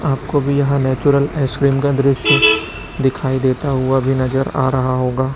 आपको भी यहां नेचुरल आइसक्रीम का दृश्य दिखाई देता हुआ भी नजर आ रहा होगा।